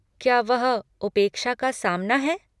क्या वह 'उपेक्षा का सामना' है?